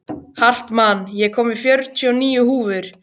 Hartmann, ég kom með fjörutíu og níu húfur!